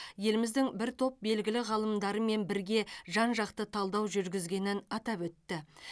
еліміздің бір топ белгілі ғалымдарымен бірге жан жақты талдау жүргізгенін атап өтті